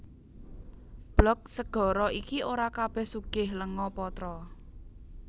Blok segara iki ora kabèh sugih lenga patra